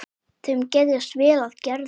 Þeim geðjast vel að Gerði.